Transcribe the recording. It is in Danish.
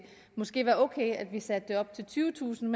måske være okay at vi satte det op til tyvetusind